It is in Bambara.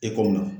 E ko min na